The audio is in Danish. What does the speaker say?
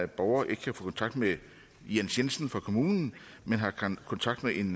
borger ikke kan få kontakt med jens jensen fra kommunen men har kontakt med en